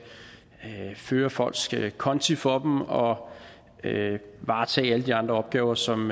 føre folks konti for dem og varetage alle de andre opgaver som